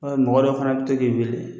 Ɔ mɔgɔ dɔ fana bɛ to k'i wele